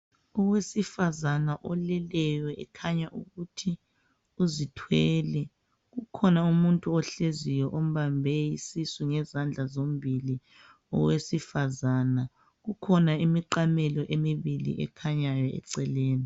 Owesifazana oleleyo ekhanya ukuthi uzithwele kukhona umuntu ohleziyo ombambe isisu ngezandla zombili owesifazana. Kukhona imiqamelo emibili ekhanyayo eceleni